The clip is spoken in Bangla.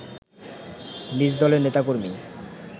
নিজদলের নেতাকর্মী